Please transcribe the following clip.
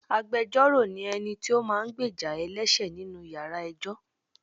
Agbẹjoro ni ẹni tí ó máa ń gbéjà ẹlẹṣẹ nínú ìyára ẹjọ́.